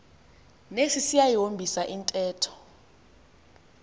nesi siyayihombisa intetho